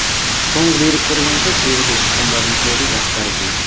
соңғы деректер бойынша шеруге шыққандардың көбі жастар екен